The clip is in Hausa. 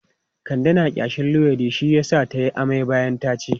Kande na ƙyashin luwaiɗi shi yasa ta yi amai bayan ta ci.